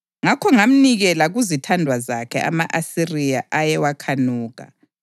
Ngakho ngamnikela kuzithandwa zakhe, ama-Asiriya, ayewakhanuka.